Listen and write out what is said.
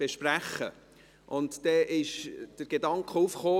Volksschule und schulergänzende Angebote